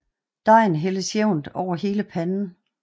Dejen hældes jævnt over hele panden